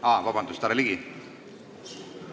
Palun vabandust, härra Ligi!